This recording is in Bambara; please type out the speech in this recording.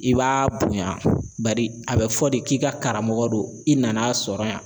I b'a bonya badi a bɛ fɔ de k'i ka karamɔgɔ don i nan'a sɔrɔ yan.